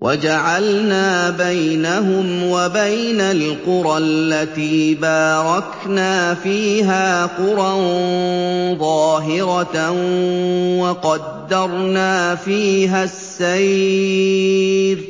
وَجَعَلْنَا بَيْنَهُمْ وَبَيْنَ الْقُرَى الَّتِي بَارَكْنَا فِيهَا قُرًى ظَاهِرَةً وَقَدَّرْنَا فِيهَا السَّيْرَ ۖ